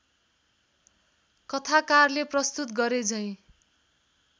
कथाकारले प्रस्तुत गरेझैँ